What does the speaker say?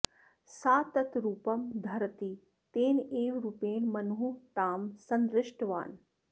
सा तत् रूपं धरति तेनैव रूपेण मनुः तां सन्दृष्टवान्